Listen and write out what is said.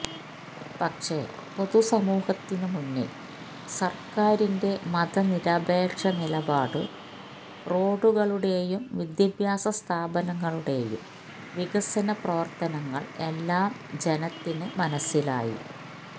പക്ഷെ പൊതുസമൂഹത്തിനു മുന്നിൽ സർക്കാരിന്റെ മത നിരപേക്ഷ നിലപാടും റോഡുകളുടെയും വിദ്യാഭ്യാസ സ്ഥാപനങ്ങളുടെയും വികസന പ്രവർത്തനങ്ങൾ എല്ലാം ജനത്തിന് മനസ്സിലായി